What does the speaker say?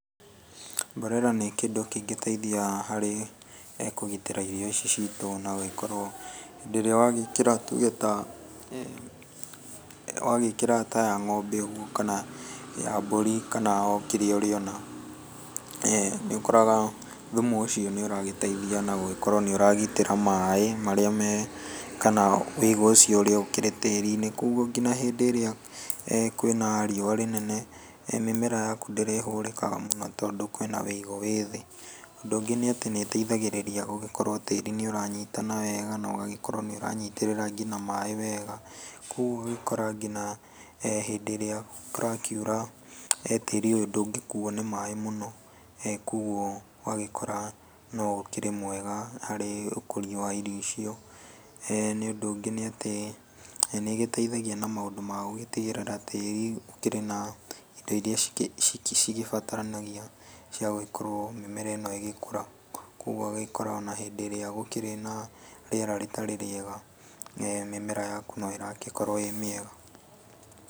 Mborera nĩ kĩndũ kĩngĩteithia harĩ kũgitĩra irio ici citũ na gũgĩkorwo hĩndĩ ĩrĩa wagĩkĩra tuge ta, wagĩkĩra ta ya ng'ombe ũguo kana ya mbũri, kana o kĩrĩa ũrĩona. Nĩ ũkoraga thumu ũcio nĩ ũragĩteithia na gũgĩkorwo nĩ ũragitĩra maaĩ marĩa me, kana ũigũ ũcio ũrĩ tĩri-inĩ. Kogwo nginya hĩndĩ ĩrĩa kwĩ na rĩũa rĩnene mĩmera yaku ndĩrĩhũrĩkaga mũno tondũ kwĩ na ũigũ wĩ thĩ. Ũndũ ũngĩ nĩ atĩ nĩ ĩteithagĩrĩria gũgĩkorwo tĩĩri nĩ ũranyitana wega na ũgagĩkorwo nĩ ũranyitĩrĩra nginya maaĩ wega. Kogwo ũgagĩkora nginya hĩndĩ ĩrĩa kũrakiura tĩĩri ũyũ ndũngĩkuo nĩ maaĩ mũno kogwo ũgagĩkora no ũkĩrĩ mwega harĩ ũkũria wa irio icio. Na ũndũ ũngĩ nĩ atĩ nĩ ĩgĩteithagia na maũndũ ma gũgĩtigĩrĩra atĩ gũtirĩ na indi iria cigĩbataranagia cia gũgĩkorwo mĩmera ĩno ĩgĩkũra, kogwo ũgagĩkora ona hĩndĩ ĩrĩa gũkĩrĩ na rĩera rĩtarĩ rĩega mĩmera yaku no ĩragĩkorwo ĩĩ mĩega.